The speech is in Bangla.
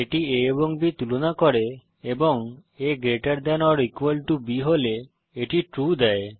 এটি a এবং b তুলনা করে এবং a greater than or equal to b হলে এটি ট্রু দেয়